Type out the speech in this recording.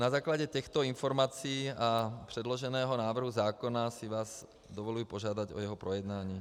Na základě těchto informací a předloženého návrhu zákona si vás dovoluji požádat o jeho projednání.